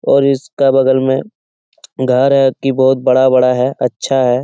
और इसके बगल में घर है की बहुत बड़ा-बड़ा है अच्छा है।